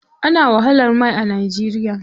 Ana wahalar mai a Najeriya.